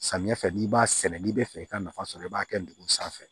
Samiyɛ fɛ n'i b'a sɛnɛ n'i bɛ fɛ i ka nafa sɔrɔ i b'a kɛ ndugu sanfɛ